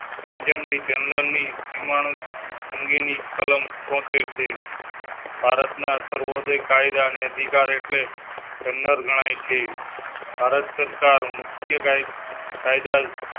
Page ને general ની નિમણૂંક અંગે ની કલમ છોતેર ભારતના સર્વા ધિક કાયદા ને અધિકાર એટલે general ગણાય છે. ભારત સરકાર. મુખ્ય કાયદા